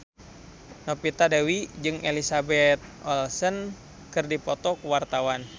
Novita Dewi jeung Elizabeth Olsen keur dipoto ku wartawan